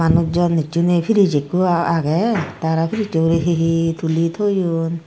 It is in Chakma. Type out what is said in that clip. manus jon hissu nei piris ikko agey tey arw pirisso ugurey hi hi tuli toyon.